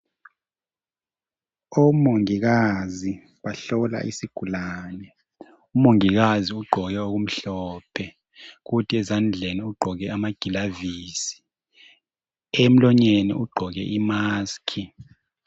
Omongikazi bahlola isigulane, umongikazi ugqoke okumhlophe kuthi ezandleni ugqoke amagilavisi. Emlonyeni ugqoke i"mask".